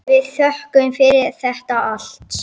Við þökkum fyrir þetta allt.